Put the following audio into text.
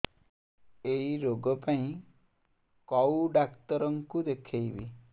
ଏଇ ରୋଗ ପାଇଁ କଉ ଡ଼ାକ୍ତର ଙ୍କୁ ଦେଖେଇବି